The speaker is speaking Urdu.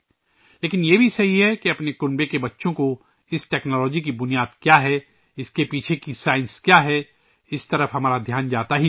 لیکن، یہ بھی سچ ہے کہ ہمارے خاندان کے بچوں کے لئے اس ٹیکنالوجی کی بنیاد کیا ہے، اس کے پیچھے سائنس کیا ہے، ہماری توجہ اس طرف جاتی ہی نہیں